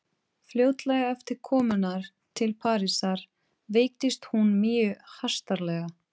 Fljótlega eftir komuna til Parísar veiktist hún mjög hastarlega.